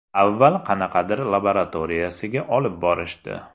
Avval qanaqadir laboratoriyasiga olib borishdi.